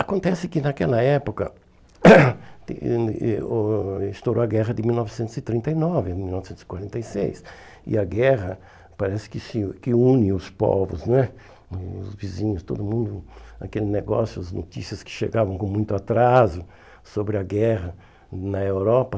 Acontece que, naquela época, estourou a guerra de mil novecentos e trinta e nove, em mil novecentos e quarenta e seis, e a guerra parece que se que une os povos né, os vizinhos, todo mundo, aquele negócio, as notícias que chegavam com muito atraso sobre a guerra na Europa.